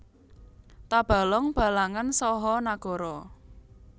Tabalong Balangan saha Nagara